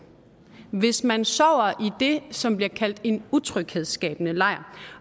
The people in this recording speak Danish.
hvis man sover i det som bliver kaldt en utryghedsskabende lejr